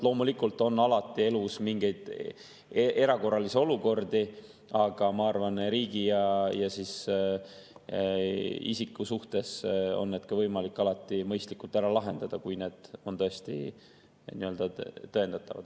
Loomulikult on elus mingeid erakorralisi olukordi, aga ma arvan, et riigi ja isiku suhetes on võimalik need alati mõistlikult ära lahendada, kui need on tõesti tõendatavad.